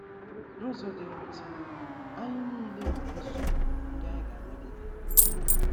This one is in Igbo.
N’ụzọ dị mwute, anyị nile nwere nsogbu ndị anyị ga - anagide. ”